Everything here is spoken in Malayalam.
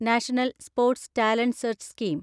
national sports talent search scheme